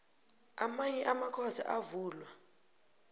amanye amakhotho avulwa